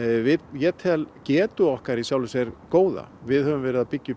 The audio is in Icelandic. ég til getu okkar góða við höfum verið að byggja